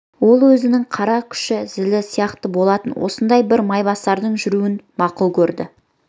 ол өзінің қара күші зілі сияқты болатын осындай бір майбасардың жүруін мақұл көрді